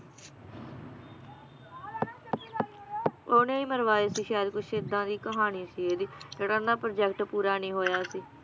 ਓਹਨੇ ਈ ਮਰਵਾਏ ਸੀ ਸ਼ਾਇਦ ਕੁਛ ਏਦਾਂ ਦੀ ਕਹਾਣੀ ਸੀ ਇਹਦੀ ਕੇਹੜਾ ਉਹਨਾਂ project ਪੂਰਾ ਨੀ ਹੋਇਆ ਸੀ